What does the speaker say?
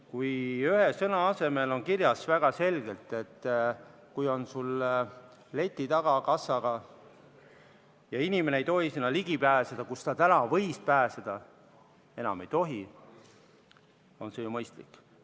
Kui ühe sõna asemel on kirjas väga selgelt, et see on sul kassaga leti taga ja inimene ei tohi sinna ligi pääseda, kuhu ta täna võib pääseda, enam seda ei tohi, siis on see ju mõistlik.